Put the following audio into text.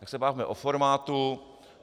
Tak se bavme o formátu.